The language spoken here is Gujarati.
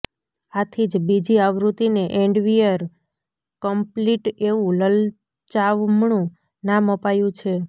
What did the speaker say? આથી જ બીજી આવૃત્તિને એન્ડવેંયર કમ્પ્લીટ એવું લલચામણું નામ અપાયું છે